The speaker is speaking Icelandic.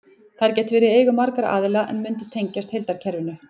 Þær gætu verið í eigu margra aðila en mundu tengjast heildarkerfinu.